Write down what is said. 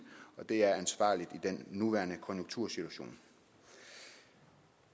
og det er ansvarligt i den nuværende konjunktursituation